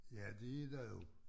Ja det er der jo